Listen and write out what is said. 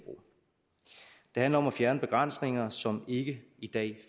handler om at fjerne begrænsninger som ikke i dag